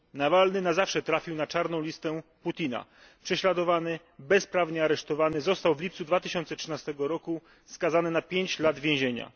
Nawalny na zawsze trafił na czarną listę Putina, był prześladowany i bezprawnie aresztowany, a w lipcu 2013 roku został skazany na 5 lat więzienia.